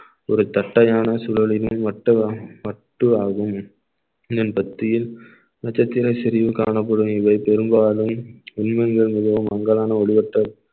ஒரு தட்டையான சூழலிலே வட்டு~ வட்டுவாகும் இதன் மத்தியில் நட்சத்திர சரிவு காணப்படும் இவை பெரும்பாலும் உண்மைகள் மிகவும் அங்கதான் ஒளிவட்டம்